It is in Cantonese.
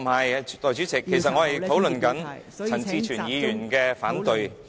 代理主席，其實我正在討論陳志全議員的反對......